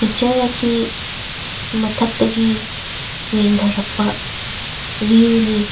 ꯑꯁꯤ ꯃꯊꯛꯇꯒꯤ ꯌꯦꯡꯗꯔꯛꯄ ꯚꯤꯎ ꯅꯤ꯫